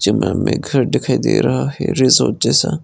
जंगल में घर दिखाई दे रहा है रिजॉर्ट जैसा।